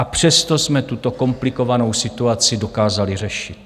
A přesto jsme tuto komplikovanou situaci dokázali řešit.